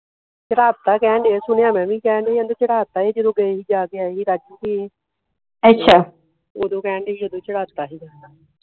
ਚੜ੍ਹਾਤਾ ਆ ਕਹਿਣ ਦੇ ਆ ਸੁਣਿਆ ਮੈ ਵੀ ਕਹਿਣ ਦੇ ਹੀ ਆਂਦੇ ਚੜ੍ਹਾਤਾ ਜਦੋ ਗਏ ਹੀ ਜਾ ਕੇ ਆਏ ਹੀ ਓਦੋ ਕਹਿਣ ਦੇ ਹੀ ਓਦੋ ਚੜ੍ਹਾਤਾ ਹੀ ਗਾ